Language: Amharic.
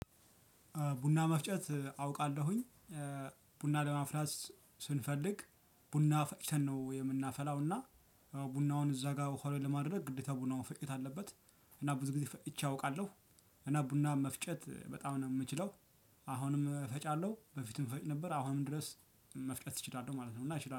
ቡና መፍጨት አውቃለሁኝ። ቡና ለማፍላት ስንፈልግ ቡና ፈጭተን ነው የምናፈላው እና ቡናውን እዛ ጋር ሆኖ ለማድረግ ግዴታ ቡናውን መፈጨት አለበት። እና ብዙ ጊዜ ፈጭቼ አውቃለሁ። እና ቡና መፍጨት በጣም ነው የምችለው። አሁንም እፈጫለሁ በፊትም እፈጭ ነበር አሁንም ድረስ መፍጨት እችላለህ ማለት ነው እና ይችላል